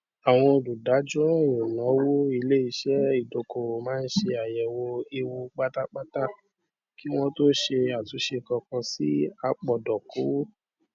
àwọn olùdájọọràn ìnáwó iléiṣẹ ìdókòwò máa ń ṣe àyẹwò ewu pátápátá kí wọn tó ṣe àtúnṣe kankan sí apòdókòwò